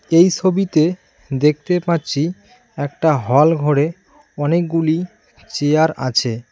এই ছবিতে দেখতে পাচ্ছি একটা হল ঘরে অনেকগুলি চেয়ার আছে।